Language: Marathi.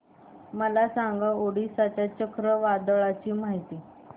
मला सांगा ओडिशा च्या चक्रीवादळाची माहिती